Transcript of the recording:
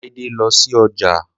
Láídé lọ sí ọjà